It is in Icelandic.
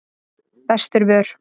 Vesturvör